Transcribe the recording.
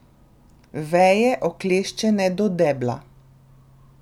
Veje, okleščene do debla.